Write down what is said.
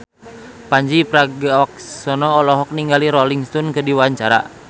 Pandji Pragiwaksono olohok ningali Rolling Stone keur diwawancara